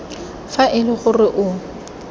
fa e le gore o